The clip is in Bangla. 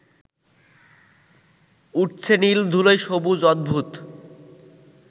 উঠছে নীল ধূলোয় সবুজ অদ্ভূত